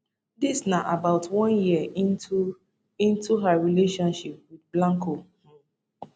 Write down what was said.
dis na about one year into into her relationship wit blanco um